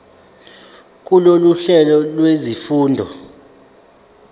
kulolu hlelo lwezifundo